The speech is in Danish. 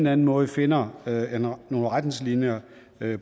anden måde finder nogle retningslinjer